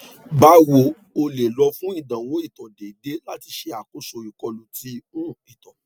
bawo o le lọ fun idanwo ito deede lati ṣe akoso ikolu ti um ito